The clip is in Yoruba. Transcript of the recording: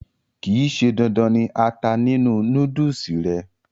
kìí ṣe dandan ni ata nínú núdùsì rẹ̀